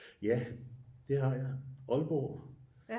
Ja det har jeg Aalborg